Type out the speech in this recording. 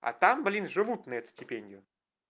а там блин живут на эту стипендию